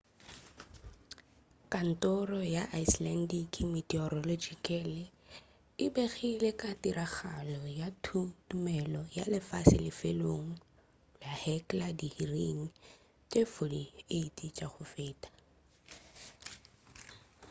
kantoro ya icelandic meteorological e begile ka tiragalo ya thuthumelo ya lefase lefelong la hekla diiring tše 48 tša go feta